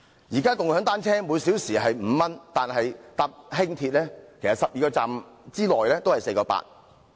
現時共享單車每小時收費是5元，但乘搭輕鐵 ，12 個站的車費也只是 4.8 元。